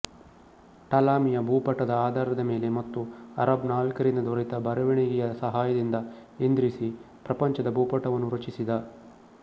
ಟಾಲಮಿಯ ಭೂಪಟದ ಆಧಾರದ ಮೇಲೆ ಮತ್ತು ಅರಬ್ ನಾವಿಕರಿಂದ ದೊರೆತ ಬರೆವಣಿಗೆಯ ಸಹಾಯದಿಂದ ಇದ್ರಿಸಿ ಪ್ರಪಂಚದ ಭೂಪಟವನ್ನು ರಚಿಸಿದ